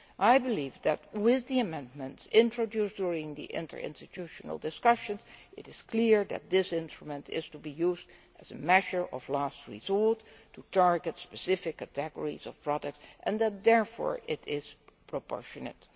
I believe that, with the amendments introduced during the interinstitutional discussions, it is clear that this instrument is to be used as a measure of last resort to target specific categories of products, and that therefore it is proportionate.